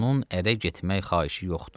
onun ərə getmək xahişi yoxdur.